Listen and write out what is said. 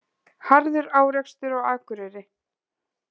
Harður árekstur á Akureyri